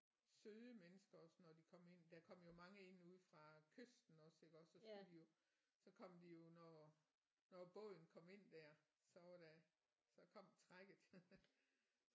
Søde mennesker også når de kom ind der kom jo mange ind ude fra kysten også iggås og så skulle de så kom de jo når når båden kom ind der så var der så kom trækket